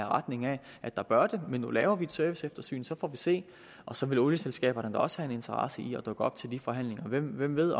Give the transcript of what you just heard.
retning af at der bør genforhandles men nu laver vi et serviceeftersyn og så får vi se og så vil olieselskaberne da også have en interesse i at dukke op til forhandlingerne hvem ved